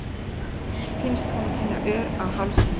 Finnst hún finna ör á hálsinum.